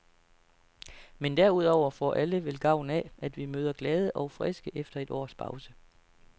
Men derudover får alle vel gavn af, at vi møder glade og friske efter et års pause.